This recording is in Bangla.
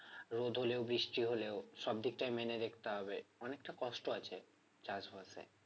রোদ হলেও বৃষ্টি হলেও সব দিকটাই মেনে দেখতে হবে অনেকটা কষ্ট আছে চাষবাসে